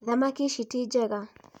Thamaki ici ti njega